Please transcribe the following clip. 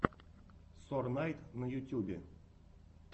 сорнайд на ютьюбе